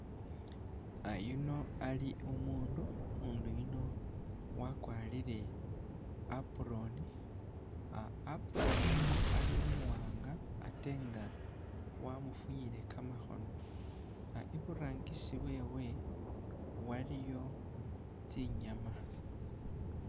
Yuno ali umuundu, umuundu yuno wakwarire i'apron, ah apron yuno ali umuwanga ate nga wamufunyile kamakhono, iburangisi wewe waliyo tsinyama.